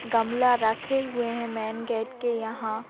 गमला रखे हुए है मेंन गेट के यहाँ--